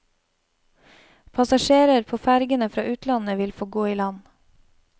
Passasjerer på fergene fra utlandet vil få gå i land.